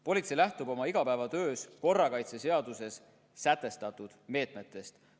Politsei lähtub oma igapäevatöös korrakaitseseaduses sätestatud meetmetest.